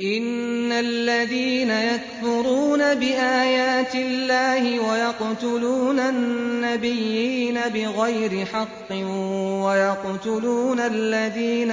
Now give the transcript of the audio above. إِنَّ الَّذِينَ يَكْفُرُونَ بِآيَاتِ اللَّهِ وَيَقْتُلُونَ النَّبِيِّينَ بِغَيْرِ حَقٍّ وَيَقْتُلُونَ الَّذِينَ